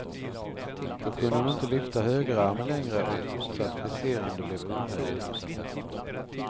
Då kunde hon inte lyfta högerarmen längre och ett fortsatt friserande blev omöjligt.